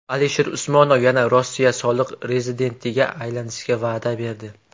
Alisher Usmonov yana Rossiya soliq rezidentiga aylanishga va’da berdi.